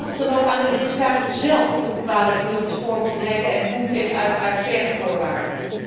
En laat het dan ook aan de lidstaten zélf over om te bepalen wie er op het spoor moet rijden en hoe, uiteraard tegen faire voorwaarden.